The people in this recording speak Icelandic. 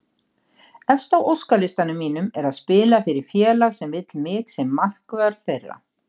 Efst á óskalistanum mínum er að spila fyrir félag sem vill mig sem markvörð þeirra.